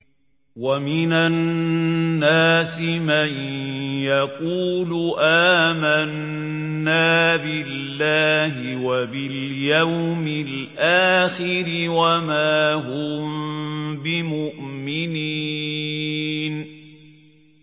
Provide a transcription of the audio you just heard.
وَمِنَ النَّاسِ مَن يَقُولُ آمَنَّا بِاللَّهِ وَبِالْيَوْمِ الْآخِرِ وَمَا هُم بِمُؤْمِنِينَ